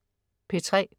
P3: